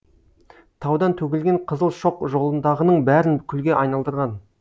таудан төгілген қызыл шоқ жолындағының бәрін күлге айналдырған